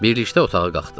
Birlikdə otağa qalxdıq.